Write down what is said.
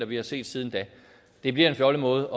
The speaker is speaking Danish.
vi har set siden da det bliver en fjollet måde